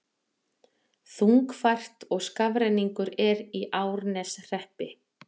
Þungfært og skafrenningur er í Árneshreppi